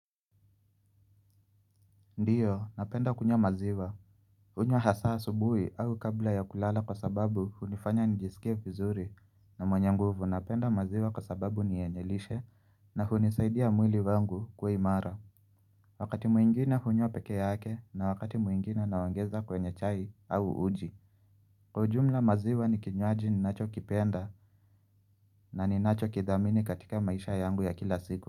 Ndio napenda kunyo maziwa kunywa hasa asubuhi au kabla ya kulala kwa sababu hunifanya nijisikie vizuri na mwenye nguvu napenda maziwa kwa sababu ni yenye lishe na hunisaidia mwili wangu kwa imara Wakati mwingine hunywa peke yake na wakati mwingine naongeza kwenye chai au uji Kwa ujumla maziwa ni kinywaji ninachokipenda na ninachokidhamini katika maisha yangu ya kila siku.